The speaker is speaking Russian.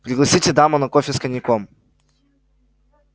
пригласите даму на кофе с коньяком